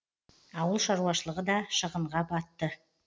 ауыл шаруашылығы да шығынға батты